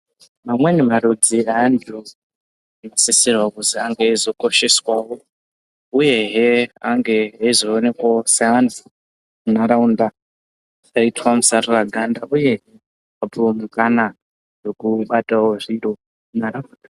Vamweni varudzi evantu anosisirwa kuti ange eizokosheswawo uyehe ange eizoonkwawo nharaunda dzisaita musarira ganda uye vapuwe mukana vobatawo zviro munharaunda.